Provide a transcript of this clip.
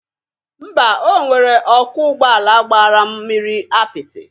Mba, o nwere ọkwọ ụgbọ ala gbara m mmiri apịtị